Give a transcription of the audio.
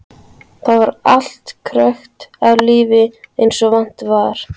Þar var allt krökkt af lífi eins og vant var.